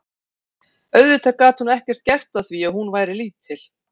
Auðvitað gat hún ekkert gert að því að hún væri lítil.